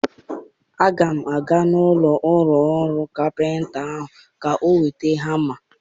Aga m aga n'ụlọ ọrụ kapịnta ahụ ka m weta hama.